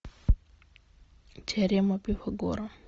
теорема пифагора